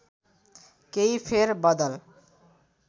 केही फेर बदल